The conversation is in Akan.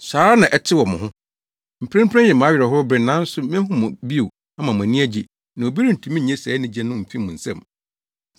Saa ara na ɛte wɔ mo ho. Mprempren yɛ mo awerɛhow bere, nanso mehu mo bio ama mo ani agye na obi rentumi nnye saa anigye no mfi mo nsam.